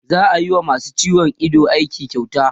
za'a wa masu ciwon Ido aiki kyauta